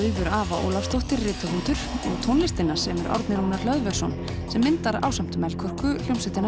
Ava Ólafsdóttir rithöfundur og tónlistina semur Árni Rúnar Hlöðversson sem myndar ásamt Melkorku hljómsveitina